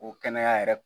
O kɛnɛya yɛrɛ